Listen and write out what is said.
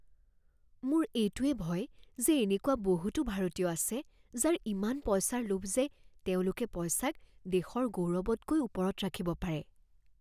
মোৰ এইটোৱেই ভয় যে এনেকুৱা বহুতো ভাৰতীয় আছে যাৰ ইমান পইচাৰ লোভ যে তেওঁলোকে পইচাক দেশৰ গৌৰৱতকৈ ওপৰত ৰাখিব পাৰে।